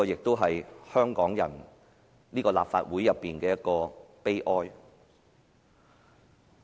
這是香港人和立法會的悲哀。